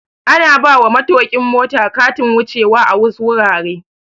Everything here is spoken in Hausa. Ana bawa matokin mota Katin wuce wa a wasu wuraren